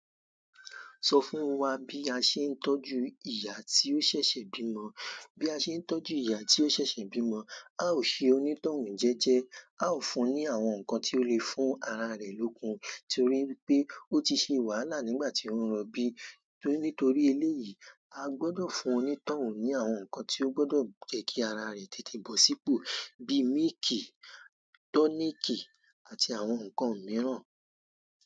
Sọ fún wa bí a ṣe ń tọ́jú ìyá tó ṣẹ̀ṣẹ̀ bímọ. Bí a ṣe ń tọ́jú ìyá tó ṣẹ̀ṣẹ̀ bímọ, a o ṣe onítọ̀hún jẹ́ẹ́jẹ́, a ó fún un ní àwọn nǹkan tó lè fún ara rè lókun. Torí pé ó ti ṣe wàhálà nígbà tí ó ń rọbí. Nítorí eléyìí, a gbọ́dọ̀ fún onítọ̀hún ní àwọn nǹkan tó gbọ́dọ̀ jẹ́ kí ara rè tètè bọ̀ sípò. Bíi míìkì, tọ́nìkì àti àwọn nǹkan míràn.